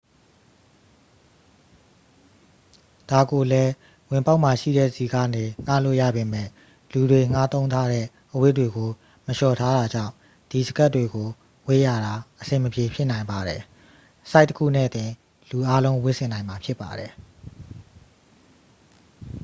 ဒါကိုလည်း ဝင်ပေါက်မှာရှိတဲ့ဆီကနေ ငှားလို့ရပေမယ့် လူတွေငှားသုံးထားတဲ့အဝတ်တွေကို မလျှော်ထားတာကြောင့် ဒီစကပ်တွေကိုဝတ်ရတာ အဆင်မပြေဖြစ်နိုင်ပါတယ် ဆိုဒ်တစ်ခုနဲ့တင် လူအားလုံးဝတ်ဆင်နိုင်မှာ ဖြစ်ပါတယ်